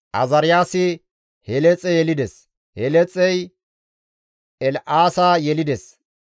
Azaariyaasi Heleexe yelides; Heleexey El7aasa yelides;